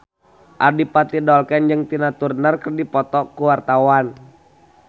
Adipati Dolken jeung Tina Turner keur dipoto ku wartawan